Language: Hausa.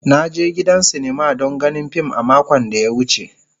Na je gidan sinima don ganin fim a makon da ya wuce.